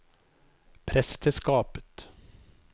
presteskapet